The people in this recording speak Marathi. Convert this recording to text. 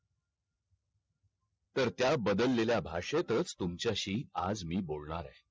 तर त्या बाधललेल्या भाषेतच तुमच्याशी आज मी बोलणार आहे